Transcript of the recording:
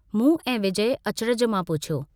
मूं ऐं विजय अचरज मां पुछियो।